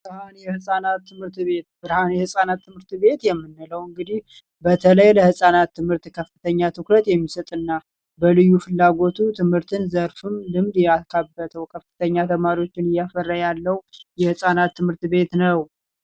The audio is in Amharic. ብርሃን የህፃናት ትምህርት ቤት ብርሃን የህፃናት ትምህርት ቤት የምንለው እንግዲህ በተለይ ለህፃናት ትምህርት ከፍተኛ ትኩረት የሚሰጥ እና በልዩ ፍላጎቶች የትምህርት ዘርፍ ልምድ እውቀትን ያካበተ ከፍተኛ ተማሪዎችን እያፈራ ያለ የህፃናት ትምህርት ቤት ነው።